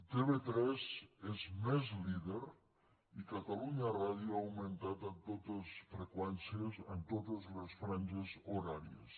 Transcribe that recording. tv3 és més líder i catalunya ràdio ha augmentat en totes les freqüències en totes les franges horàries